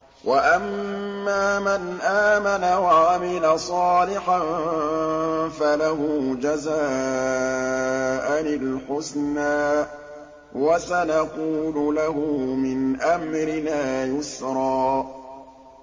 وَأَمَّا مَنْ آمَنَ وَعَمِلَ صَالِحًا فَلَهُ جَزَاءً الْحُسْنَىٰ ۖ وَسَنَقُولُ لَهُ مِنْ أَمْرِنَا يُسْرًا